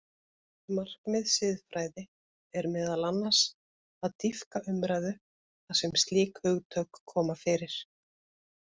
Markmið siðfræði er meðal annars að dýpka umræðu þar sem slík hugtök koma fyrir.